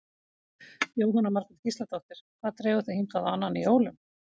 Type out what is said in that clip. Jóhanna Margrét Gísladóttir: Hvað dregur þig hingað á annan í jólum?